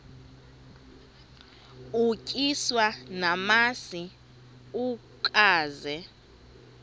utyiswa namasi ukaze